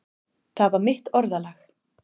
Það var mitt orðalag.